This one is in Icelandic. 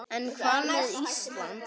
En hvað með Ísland?